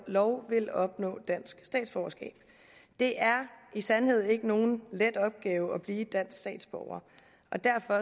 lov vil opnå dansk statsborgerskab det er i sandhed ikke nogen let opgave at blive dansk statsborger og derfor